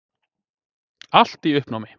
Allt í uppnámi.